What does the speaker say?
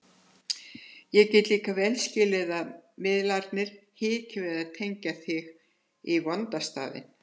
Ég get líka vel skilið að miðlarnir hiki við að tengja sig í vonda staðinn.